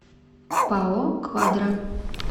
пао квадра